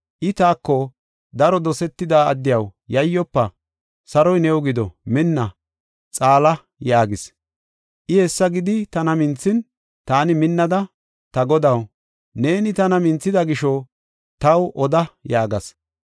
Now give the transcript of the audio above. I taako, “Daro dosetida addiyaw yayyofa! Saroy new gido. Minna; xaala” yaagis. I hessa gidi tana minthin, taani minnada, “Ta Godaw, neeni tana minthida gisho taw oda” yaagas.